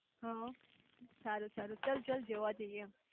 હમ્મ સારું સારું ચલ ચલ જોવા જઇયે